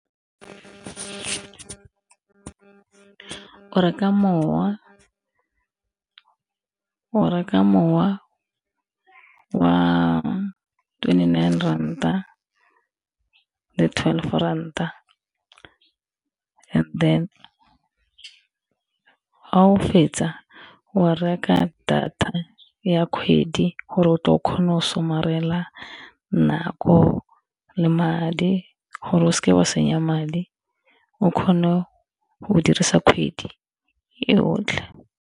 O reka mowa, o reka mowa wa twenty nine ranta le twelve ranta and then fa o fetsa o reka data ya kgwedi gore o tle o kgone go somarela nako le madi gore o seke wa senya madi, o kgone go dirisa kgwedi e yotlhe.